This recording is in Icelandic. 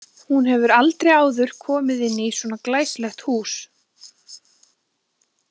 Hún hefur aldrei áður komið inn í svona glæsilegt hús.